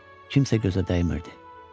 Kimsə gözə dəymirdi.